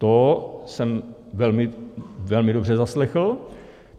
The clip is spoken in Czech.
To jsem velmi, velmi dobře zaslechl.